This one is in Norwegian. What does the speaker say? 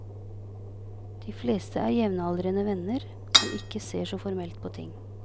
De fleste er jevnaldrende venner, som ikke ser så formelt på ting.